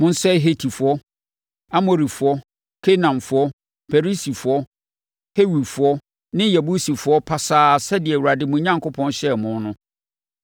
Monsɛe Hetifoɔ, Amorifoɔ, Kanaanfoɔ, Perisifoɔ, Hewifoɔ ne Yebusifoɔ pasaa sɛdeɛ Awurade, mo Onyankopɔn, hyɛɛ mo no.